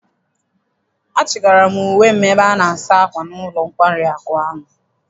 Achị gara m uwe m ebe ana-asa akwa n'ụlọ nkwari ahụ.